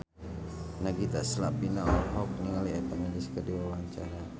Nagita Slavina olohok ningali Eva Mendes keur diwawancara